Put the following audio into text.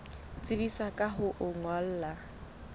tsebisa ka ho o ngolla